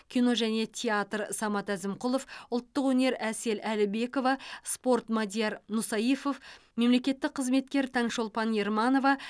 кино және театр самат әзімқұлов ұлттық өнер әсел әлібекова спорт мадияр мусаифов мемлекеттік қызметкер таңшолпан ерманова